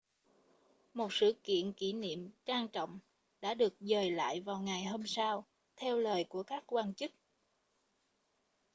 một sự kiện kỷ niệm trang trọng đã được dời lại vào ngày hôm sau theo lời của các quan chức